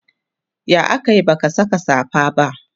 ya akayi baka Saka safa ba?